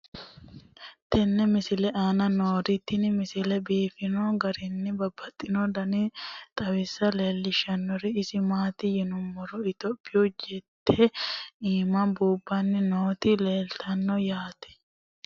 tenne misile aana noorina tini misile biiffanno garinni babaxxinno daniinni xawisse leelishanori isi maati yinummoro ithiopiyu jette iimma buubanni nootti leelittanno yaatte